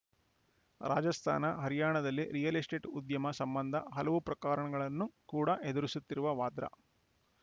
ರಾಜಸ್ಥಾನ ಹರ್ಯಾಣದಲ್ಲಿ real estate ಉದ್ಯಮ ಸಂಬಂಧ ಹಲವು ಪ್ರಕರಣಗಳನ್ನು ಕೂಡಾ ಎದುರಿಸುತ್ತಿರುವ ವಾದ್ರಾ